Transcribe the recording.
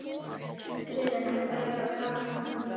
Friðfinna, hvað er á dagatalinu í dag?